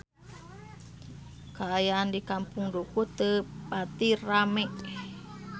Kaayaan di Kampung Dukuh teu pati rame